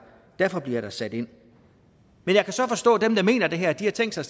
derfor der bliver sat ind jeg kan så forstå at dem der mener det her har tænkt sig